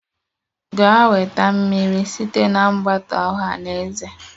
Gaa weta mmiri site na mgbata ọha na eze!